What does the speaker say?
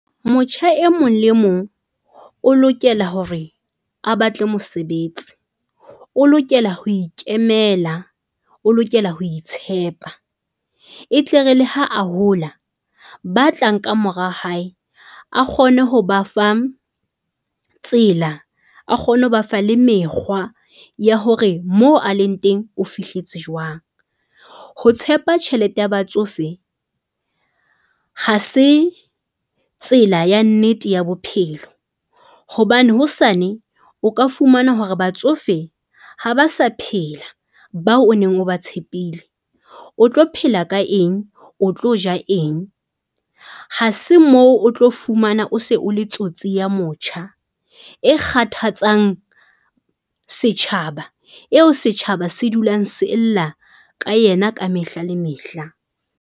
Motjha e mong le e mong o lokela hore a batle mosebetsi o lokela ho ikemela. O lokela ho itshepa e tle re le ha a hola, ba tlang ka mora hae, a kgone ho ba fa tsela, a kgone ho ba fa le mekgwa ya hore moo a leng teng o fihletse jwang. Ho tshepa tjhelete ya batsofe ha se tsela ya nnete ya bophelo hobane hosane o ka fumana hore batsofe ha ba sa phela. Bao o neng o ba tshepile o tlo phela ka eng? O tlo ja eng? Hase moo o tlo fumana o se o le tsotsi ya motjha e kgathatsang setjhaba, eo setjhaba se dulang se lla ka yena ka mehla le mehla?